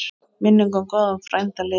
Minning um góðan frænda lifir.